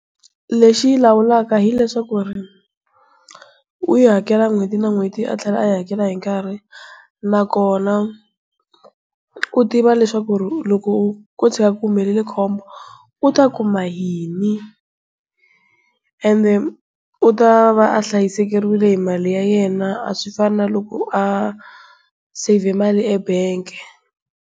Lexi yi lawulaka hileswaku u yi hakela n'hweti na n'hweti, a tlhela a yi hakela hi nkarhi na kona u tiva leswaku loko ko tshuka ku humelele khombo u ta kuma yini ende u ta va a hlayisekeriwile hi mali ya yena a swi fana na loko a save mali ebengi.